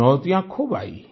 चुनौतियाँ खूब आईं